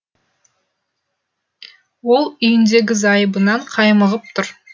ол үйіндегі зайыбынан қаймығып тұр